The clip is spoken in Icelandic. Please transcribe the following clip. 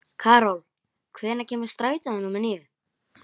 Karol, hvenær kemur strætó númer níu?